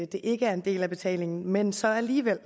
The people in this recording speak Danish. det ikke en del af betalingen men så alligevel